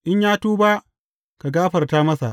In ya tuba, ka gafarta masa.